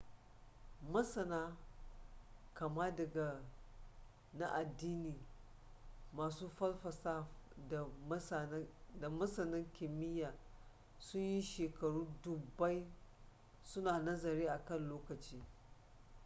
masana kama daga na addini masu falsafa da masana kimiyya sun yi shekaru dubbai su na nazari a kan lokaci